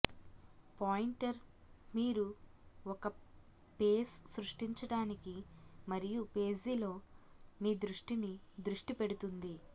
pointer మీరు ఒక పేస్ సృష్టించడానికి మరియు పేజీలో మీ దృష్టిని దృష్టి పెడుతుంది